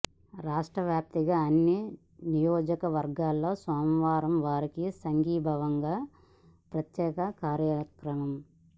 రాష్ట్ర వ్యాప్తంగా అన్ని నియోజకవర్గాల్లో సోమవారం వారికి సంఘీభావంగా ప్రత్యేక కార్యక్రమం